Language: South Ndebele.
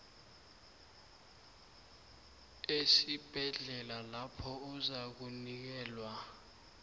esibhedlela lapho uzakunikelwa